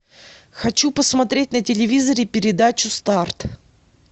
хочу посмотреть на телевизоре передачу старт